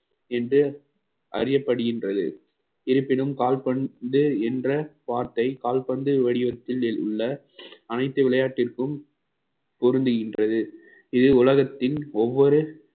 என்று அறியப்படுகின்றது இருப்பினும் கால்பந்து என்ற வார்த்தை கால்பந்து வடிவத்தில் உள்ள அனைத்து விளையாட்டிற்கும் பொருந்துகின்றது இது உலகத்தின் ஒவ்வொரு